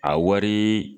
A wari